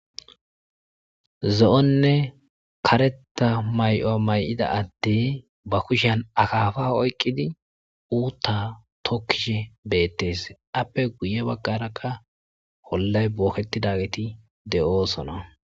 zo7onne kareta may7o may7ida adde ba kushan akaafa oyqqidi uutta tokkishe beettes appe guye baggara ka hollay booketidageti de7oosona